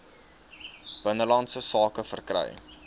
binnelandse sake verkry